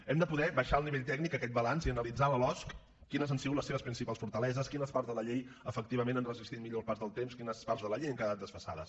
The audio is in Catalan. hem de poder baixar al nivell tècnic aquest balanç i analitzar la losc quines han sigut les seves principals fortaleses quines parts de la llei efectivament han resistit millor el pas del temps quines parts de la llei han quedat desfasades